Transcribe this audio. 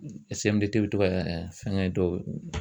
Sɛmidete be to ga fɛngɛ dɔw